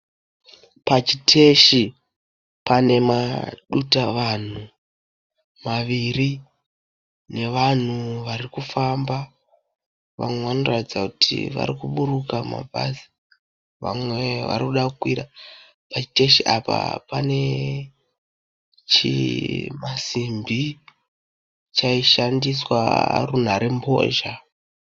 Pachiteshi pane madutavanhu maviri nevanhu vari kufamba. Vamwe vanoratidza kuti vari kuburuka mabhazi vamwe varikuda kukwira. Pachiteshi apa pane chimasimbi chaishandiswa runharembozha.